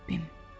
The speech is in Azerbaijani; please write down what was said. Rəbbim.